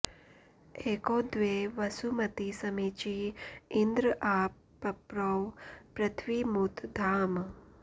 एको॒ द्वे वसु॑मती समी॒ची इन्द्र॒ आ प॑प्रौ पृथि॒वीमु॒त द्याम्